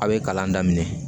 A' ye kalan daminɛ